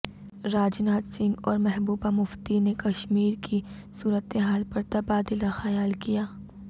راجناتھ سنگھ اور محبوبہ مفتی نے کشمیر کی صورتحال پر تبادلہ خیال کیا